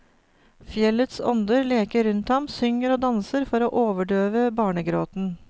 Fjellets ånder leker rundt ham, synger og danser for å overdøve barnegråten.